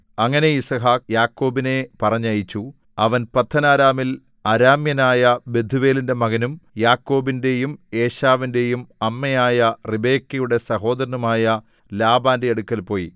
അങ്ങനെ യിസ്ഹാക്ക് യാക്കോബിനെ പറഞ്ഞയച്ചു അവൻ പദ്ദൻഅരാമിൽ അരാമ്യനായ ബെഥൂവേലിന്റെ മകനും യാക്കോബിന്റെയും ഏശാവിന്റെയും അമ്മയായ റിബെക്കയുടെ സഹോദരനുമായ ലാബാന്റെ അടുക്കൽ പോയി